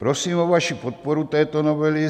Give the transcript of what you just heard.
Prosím o vaši podporu této novely.